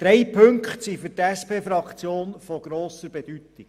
Drei Punkte sind für die SPJUSO-PSA-Fraktion von grosser Bedeutung.